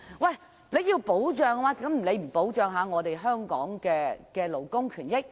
如果要保障，為何不先保障香港勞工的權益？